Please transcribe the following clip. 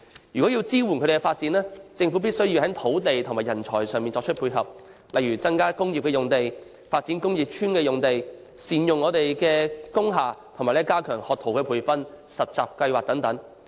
若要支援他們發展，政府必須從土地和人才上作出配合，例如增加工業用地、發展工業邨用地、善用工廈，以及加強培訓學徒、實習的計劃等。